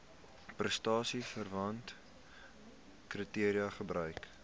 prestasieverwante kriteria gebruik